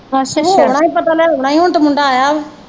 ਹੋ ਆਉਣਾ ਹੀ ਪਤਾ ਲੈ ਆਉਣਾ ਹੀ ਹੁਣ ਤੇ ਮੁੰਡਾ ਆਇਆ ਵਾ।